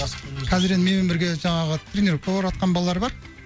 қазір енді менімен бірге жаңағы тренеровкаға барыватқан балалар бар